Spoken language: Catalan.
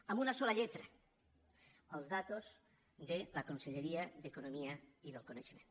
amb una sola lletra les dades de la conselleria d’economia i coneixement